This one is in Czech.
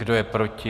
Kdo je proti?